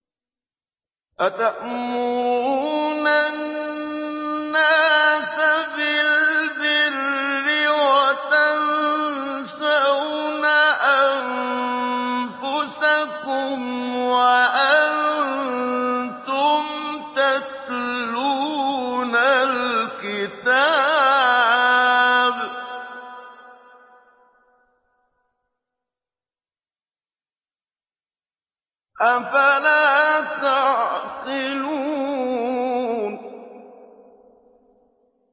۞ أَتَأْمُرُونَ النَّاسَ بِالْبِرِّ وَتَنسَوْنَ أَنفُسَكُمْ وَأَنتُمْ تَتْلُونَ الْكِتَابَ ۚ أَفَلَا تَعْقِلُونَ